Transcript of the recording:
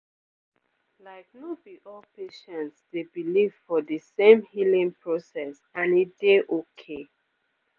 like no be all patients dey believe for de same healing process and e dey okay